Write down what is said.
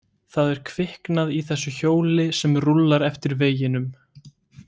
Það er kviknað í þessu hjóli sem rúllar eftir veginum.